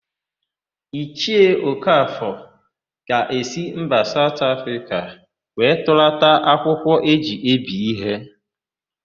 Ichie Okafọ ga-esi mba Saụt Afrịka wee tụlata akwụkwọ e ji ebi íhé.